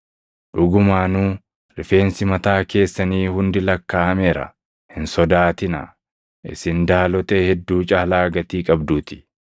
Dhugumaanuu rifeensi mataa keessanii hundi lakkaaʼameera. Hin sodaatinaa; isin daalotee hedduu caalaa gatii qabduutii.